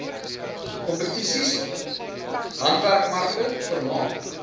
kompetisies handwerkmarkte vermaak